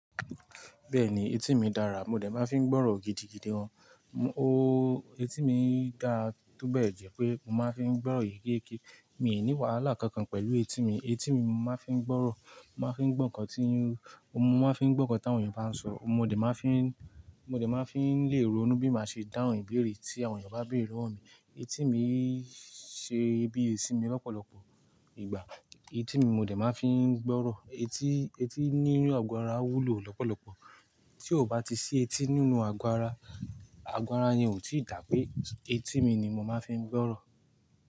Bẹ́ẹ̀ni etí mi dára, mo dẹ̀ máa fi ń gbọ́rọ̀ gidigidi gan. Eti mi dára, túbọ̀ ẹ̀ jẹ́ pé mo máa fi ń gbọ́rọ̀ èyíkéyìí. Mi ò ní wàhálà kankan pẹ̀lú etí mi. Etí mi mo máa fi ń gbọ́rọ̀, màá fi ń gbọ́ nǹkan tí, mo máa fi ń gbọ́ nǹkan tí àwọn ènìyàn bá ń sọ, mo dẹ̀ máa fi ń, mo dẹ̀ máa fi ń lé ronu bi màá ṣe dáhùn ìbéèrè tí àwọn ènìyàn bá béèrè lowo mi. Etí mi ń ṣe bíi etí mi lọ́pọ̀lọpọ̀ ìgbà. Etí mi mo dẹ̀ máa fi ń gbọ́rọ̀. Eti, etí ninú àgọ́ ara wúlò lọ́pọ̀lọpọ̀. Tí ó bá ti ṣí etí nínú àgọ́ ara, àgọ́ ara yẹn ò tí ì dà pé etí mi ni mo máa fi ń gbọ́rọ̀